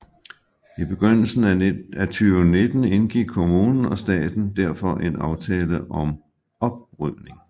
I begyndelsen af 2019 indgik kommunen og staten derfor en aftale om oprydning